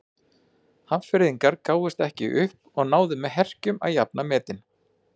Hafnfirðingar gáfust ekki upp og náðu með herkjum að jafna metin.